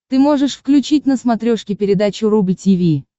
ты можешь включить на смотрешке передачу рубль ти ви